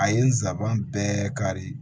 A ye nsaban bɛɛ kari